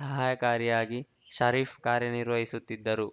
ಸಹಾಯಕಾರಿ ಯಾಗಿ ಷರೀಫ್‌ ಕಾರ್ಯನಿರ್ವಹಿಸುತಿದ್ದರು